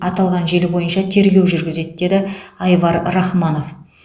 аталған желі бойынша тергеу жүргізеді деді айвар рахманов